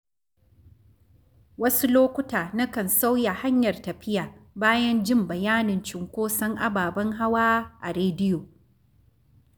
Wasu lokuta, nakan sauya hanyar tafiya bayan jin bayanin cunkoson ababen hawa a rediyo.